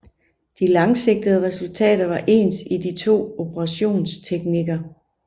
De langsigtede resultater var ens i de to operationsteknikker